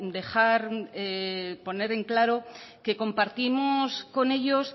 poner en claro que compartimos con ellos